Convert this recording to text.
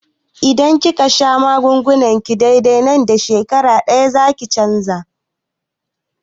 Idan kika sha magungunanki dai-dai, nan da shekara ɗaya zakiga canji